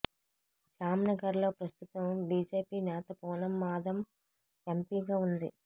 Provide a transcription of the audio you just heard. జామ్నగర్లో ప్రస్తుతం బీజేపీ నేత పూనమ్ మాదమ్ ఎంపీగా ఉంది